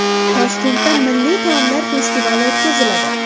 Toshkentda milliy taomlar festivali o‘tkaziladi.